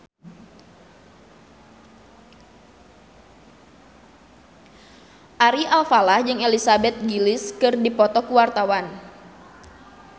Ari Alfalah jeung Elizabeth Gillies keur dipoto ku wartawan